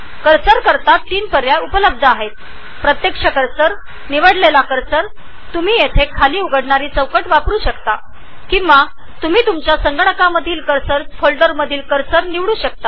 कर्सरचे ३ पर्याय आहेत actual cursor custom cursor जे तुम्ही ड्रॉप डाउन बॉक्समधून निवडू शकता किंवा तुम्ही संगणकावरील कर्सर फोल्डरमधून कर्सर निवडू शकता